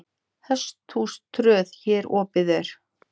Hesthús tröð hér opið er.